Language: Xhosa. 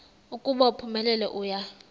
ukuba uphumelele uya